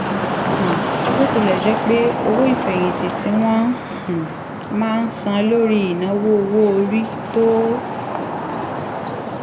um bó tilẹ̀ jẹ́ pé owó ìfẹ̀yìntì tí wọ́n um máa ń san lórí ìnáwó owó orí tó